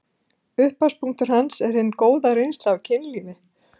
Upphafspunktur hans er hin góða reynsla af kynlífi.